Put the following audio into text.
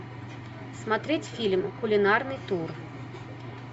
смотреть фильм кулинарный тур